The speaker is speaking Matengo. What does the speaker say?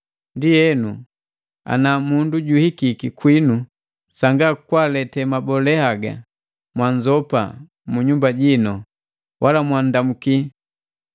Ndienu, ana mundu juhikiki kwinu sanga kwalete mabole haga, mwaanzopa mu nyumba jinu, wala mwaanndamuki.